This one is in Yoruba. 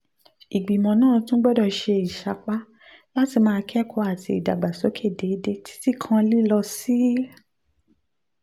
ìgbìmọ̀ náà tún gbọ́dọ̀ ṣe ìsapá láti máa kẹ́kọ̀ọ́ àti ìdàgbàsókè déédéé títí kan lílọ sí